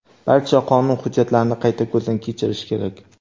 Barcha qonun hujjatlarini qayta ko‘zdan kechirish kerak.